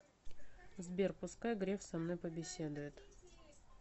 сбер пускай греф со мной побеседует